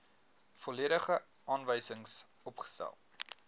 volledige aanwysings opgestel